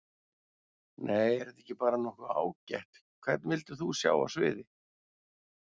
Nei er þetta ekki bara nokkuð ágætt Hvern vildir þú sjá á sviði?